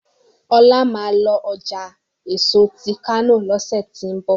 Ola má lọ ọjà èso tí kano lọsẹ ti n bọ: